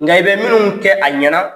Nka i bɛ minnu kɛ a ɲɛna